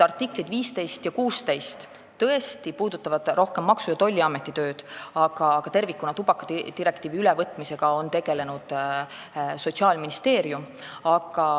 Artiklid 15 ja 16 tõesti puudutavad rohkem Maksu- ja Tolliameti tööd, aga tervikuna tubakadirektiivi ülevõtmisega on tegelenud Sotsiaalministeerium.